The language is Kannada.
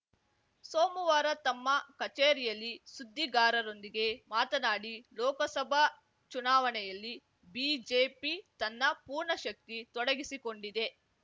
ಸೋಮವಾರ ತಮ್ಮ ಕಚೇರಿಯಲ್ಲಿ ಸುದ್ದಿಗಾರರೊಂದಿಗೆ ಮಾತನಾಡಿ ಲೋಕಸಭಾ ಚುನಾವಣೆಯಲ್ಲಿ ಬಿಜೆಪಿ ತನ್ನ ಪೂರ್ಣ ಶಕ್ತಿ ತೊಡಗಿಸಿಕೊಂಡಿದೆ